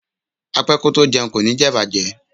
Apẹ́ kótó jẹun kò ní jẹ̀bàjẹ́.